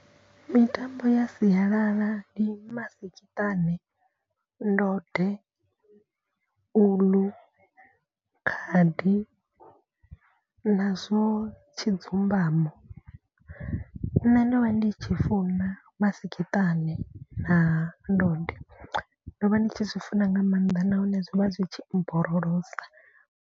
Mitambo ya sialala ndi masikiṱani, ndode, uḽu, khadi nazwo tshi dzumbamo. Nṋe ndo vha ndi tshi funa masikiṱane na ndode ndo vha ndi tshi zwi funa nga maanḓa nahone zwo vha zwi tshi mborolosa.